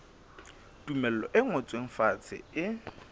tumello e ngotsweng fatshe e